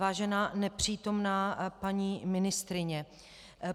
Vážená nepřítomná paní ministryně.